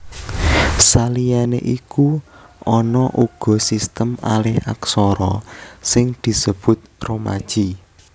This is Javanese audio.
Saliyané iku ana uga sistem alihaksara sing disebut romaji